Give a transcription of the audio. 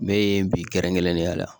Ne ye bi kɛrɛnkɛrɛnnenya la